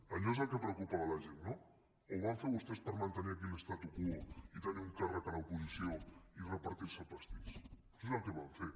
allò és el que preocupava la gent no o ho van fer vostès per mantenir aquí l’statu quo i tenir un càrrec a l’oposició i repartir se el pastís doncs és el que van fer